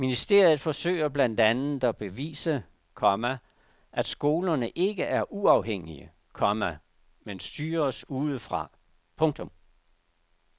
Ministeriet forsøger blandt andet at bevise, komma at skolerne ikke er uafhængige, komma men styres udefra. punktum